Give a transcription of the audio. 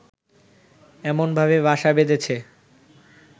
এমনভাবে বাসা বেঁধেছে